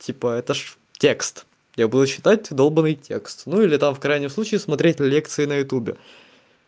типа это же текст я буду читать долбаный текст ну или там в крайнем случае смотреть лекции на ютубе